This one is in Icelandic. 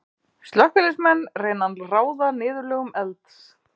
Slökkviliðsmenn reyna að ráða niðurlögum elds.